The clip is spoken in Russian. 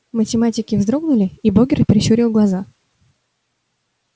математики вздрогнули и богерт прищурил глаза